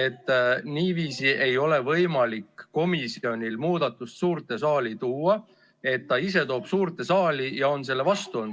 et niiviisi ei ole võimalik komisjonil muudatust suurde saali tuua – niiviisi, et ta toob selle suurde saali, kuigi on ise selle vastu olnud.